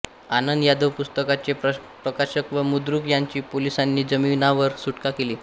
आनंद यादव पुस्तकाचे प्रकाशक व मुद्रक यांची पोलिसांनी जामिनावर सुटका केली